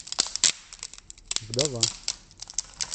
вдова